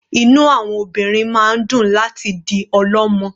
Inú àwọn obìnrin máa ń dùn láti di ọlọ́mọ.